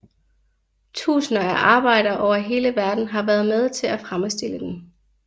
Tusinder af arbejdere over hele verden har været med til at fremstille den